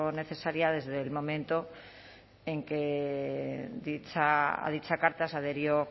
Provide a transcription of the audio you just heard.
necesaria desde el momento en que a dicha carta se adhirió